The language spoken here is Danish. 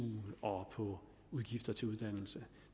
og over udgifterne til uddannelse